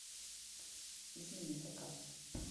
измени заказ